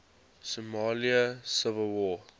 somali civil war